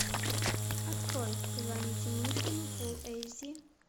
открой позвоните мышкину фулл эйч ди